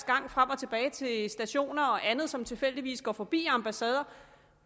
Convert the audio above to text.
gang frem og tilbage til stationer og andet og som tilfældigvis går forbi ambassader